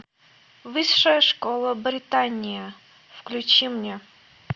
высшая школа британия включи мне